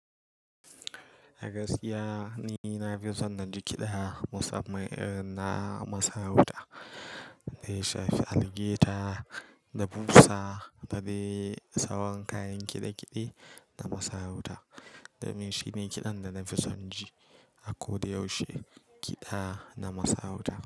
A gaskiya ni na fi son na ji kiɗa musamman na masarauta, dai shafe, algaita da fursa da dai sabon kayan kiɗe-kiɗe na masarauta. Domin shi ne kiɗan da na fi son ji a ko da yaushe, kiɗa na masarauta.